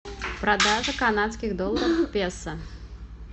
продажа канадских долларов к песо